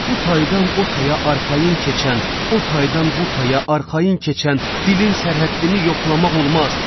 Bu taydan o taya arxayın keçən, o taydan bu taya arxayın keçən dilin sərhəddini yoxlamaq olmaz.